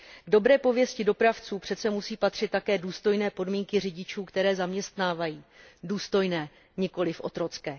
K dobré pověsti dopravců přece musí patřit také důstojné podmínky řidičů, které zaměstnávají důstojné, nikoliv otrocké.